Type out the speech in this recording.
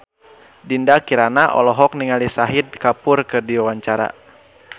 Dinda Kirana olohok ningali Shahid Kapoor keur diwawancara